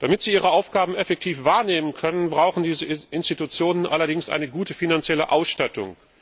Damit sie ihre Aufgaben effektiv wahrnehmen können, brauchen diese Institutionen allerdings eine gute finanzielle Ausstattung.